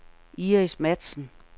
Iris Matzen